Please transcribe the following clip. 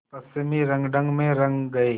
पश्चिमी रंगढंग में रंग गए